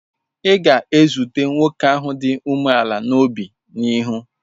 Ị ga-ezute nwoke ahụ dị umeala n'obi n'ihu.